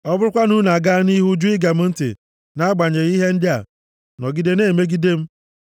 “ ‘Ọ bụrụkwa na unu agaa nʼihu jụ ige m ntị nʼagbanyeghị ihe ndị a, nọgide na-emegide m,